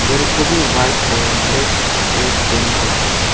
घर को भी व्हाइट और ब्लैक ग्रे पेंट करके है।